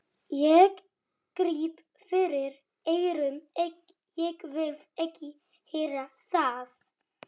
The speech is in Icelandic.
Ég gríp fyrir eyrun, ég vil ekki heyra það!